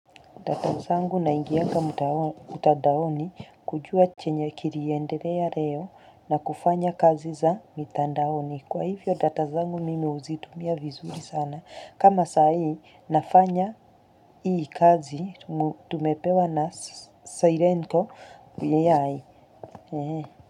Data zangu naingianga mtandaoni kujua chenye kiliendelea leo na kufanya kazi za mitandaoni. Kwa hivyo data zangu mimi huzitumia vizuri sana. Kama saa hii nafanya hii kazi tumepewa na silencio AI.